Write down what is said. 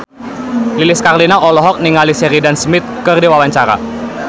Lilis Karlina olohok ningali Sheridan Smith keur diwawancara